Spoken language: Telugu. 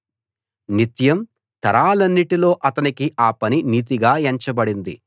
నిత్యం తరాలన్నిటిలో అతనికి ఆ పని నీతిగా ఎంచబడింది